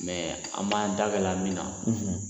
an b'an da gɛlɛya min na